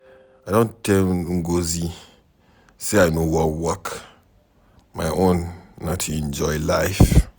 I don tell Ngozi say I no wan work. My own na to enjoy life.